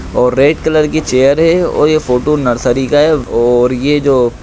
और red colour की chair हे ओर यह फोटो नर्सरी का हे ओर ये जो --